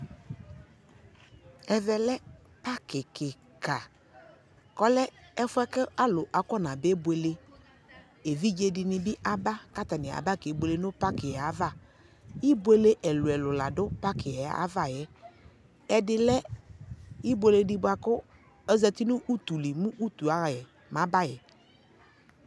Evɛ lɛ paki kika kɔlɛ ɛƒʊɛ alu akɔnaba bebuele evidze dini bi aba katani aba kebuele nu pakiɛ ava ibuele ɛlu ɛlu la du paki ava ɛdɩ lɛ ibuele di bua ezatinu utuli mɔyaɣa yɛ mɔyabayɛ